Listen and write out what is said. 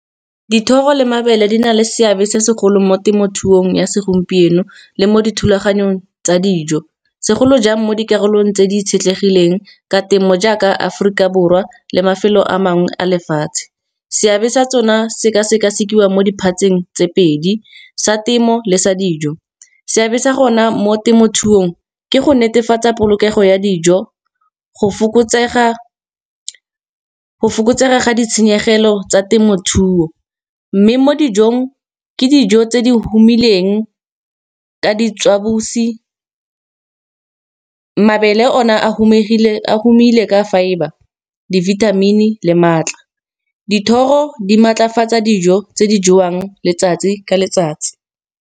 Dithoro le mabele di na le seabe se segolo mo temothuong ya segompieno, le mo dithulaganyong tsa dijo. Segolo jang mo dikarolong tse di itshetlegileng ka temo, jaaka Aforika Borwa le mafelo a mangwe a lefatshe. Seabe sa tsona se ka sekasekiwa mo diphatseng tse pedi sa temo le sa dijo, seabe sa gona mo temothuong ke go netefatsa polokego ya dijo. Go fokotsega ga ditshenyegelo tsa temothuo, mme mo dijong ke dijo tse di humileng ka ditswabusi. Mabele o na a humile ka fibre, dibithamini le maatla, dithoro di maatlafatsa dijo tse di jewang letsatsi ka letsatsi.